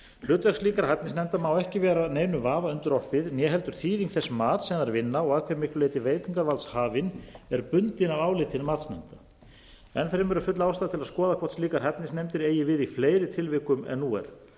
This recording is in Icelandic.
hlutverk slíkra hæfnisnefnda má ekki vera neinum vafa undirorpið né heldur þýðing þess mats sem þær vinna og að hve miklu leyti veitingarvaldshafinn er bundinn af áliti matsnefnda enn fremur er full ástæða til að skoða hvort slíkar hæfnisnefndir eigi við í fleiri tilvikum en nú er